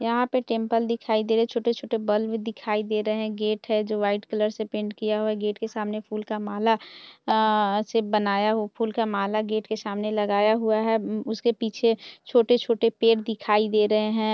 यहां पे टेंपल दिखाई दे रहे छोटे-छोटे बल्ब दिखाई दे रहे है गेट है जो व्हाइट कलर से पेंट किया हुआ है गेट के सामने फूल का माला अ अ--से बनाया फूल का माला गेट के सामने लगाया हुआ है उसके पीछे छोटे-छोटे पेड़ दिखाई दे रहे है।